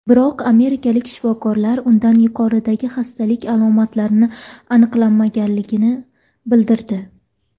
Biroq amerikalik shifokorlar unda yuqoridagi xastalik alomatlarini aniqlamaganligini bildirdi.